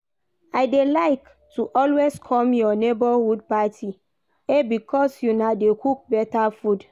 I dey like to always come your neighborhood party eh because una dey cook better food.